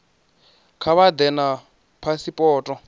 kha vha ḓe na phasipoto